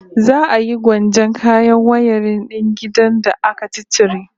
Za a yi gwanjon kayan wayarin din gidan da aka ciccire